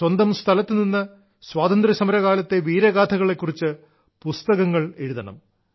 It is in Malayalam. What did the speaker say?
സ്വന്തം സ്ഥലത്തുനിന്ന് സ്വാതന്ത്ര്യസമരകാലത്തെ വീരഗാഥകളെ കുറിച്ച് പുസ്തകങ്ങൾ എഴുതണം